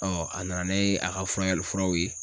a nana ne a ka furakɛli furaw ye.